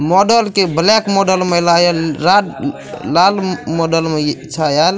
Model के black model मे आयला ये रा लाल लाल मॉडल मे छा आयल।